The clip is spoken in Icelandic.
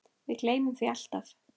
Við gleymum því alltaf